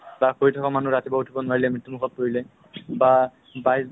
তেওঁলোকক মানে ই state government ৰ দ্ৱাৰা training এটা দিয়া হয়নে নহয়